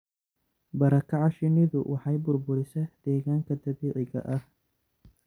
Barakaca shinnidu waxay burburisaa deegaanka dabiiciga ah.